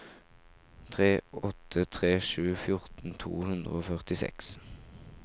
tre åtte tre sju fjorten to hundre og førtiseks